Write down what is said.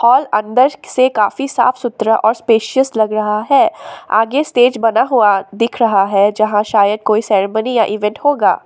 जो अंदर से काफी साफ सुथरा और स्पेशियस लग रहा है आगे स्टेज बना हुआ दिख रहा है जहां शायद कोई सेरेमनी या इवेंट होगा।